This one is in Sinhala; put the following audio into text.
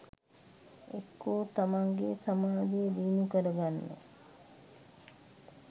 එක්කො තමන්ගේ සමාධිය දියුණු කරගන්න